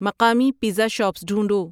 مقامی pizza shops ڈھونڈو